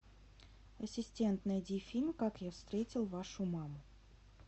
ассистент найди фильм как я встретил вашу маму